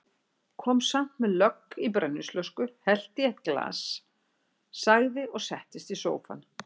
Kom samt með lögg í brennivínsflösku, hellti í eitt glas, sagði og settist í sófann